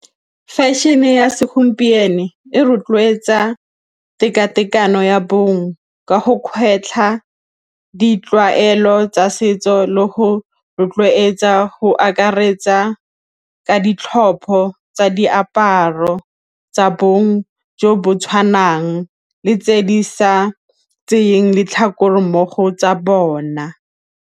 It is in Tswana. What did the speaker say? Fashion-e ya segompieno e rotloetsa tekatekano ya bong ka go kgetlha ditlwaelo tsa setso le go rotloetsa go akaretsa ka ditlhopho tsa diaparo tsa bong jo bo tshwanang le tse di sa tseyeng letlhakore mmogo tsa bona.